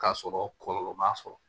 K'a sɔrɔ kɔlɔlɔ m'a sɔrɔ